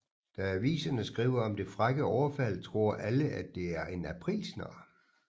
Da aviserne skriver om det frække overfald tror alle at det er en aprilsnar